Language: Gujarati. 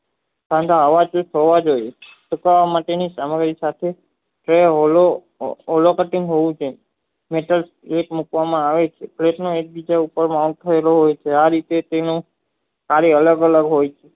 તથા ફેમિલી સાથે ઓવલકાં હોવું છે નાકર એક મુકવામાં આવે છે આ રીતે તેને ચારે અલગ અલગ હોય છે